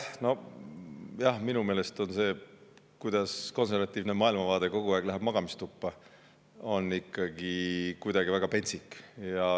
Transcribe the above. No jah, minu meelest on see, kuidas konservatiivse maailmavaate kogu aeg lähevad magamistuppa, kuidagi väga pentsik.